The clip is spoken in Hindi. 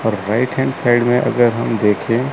और राइट हैंड साइड में अगर हम देखें--